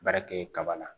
Baara kɛ kaba la